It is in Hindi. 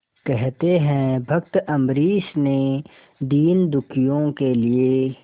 कहते हैं भक्त अम्बरीश ने दीनदुखियों के लिए